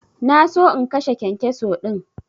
Na so in kashe kyankyaso din.